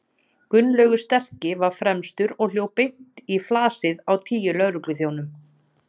Gunnlaugur sterki var fremstur og hljóp beint í flasið á tíu lögregluþjónum.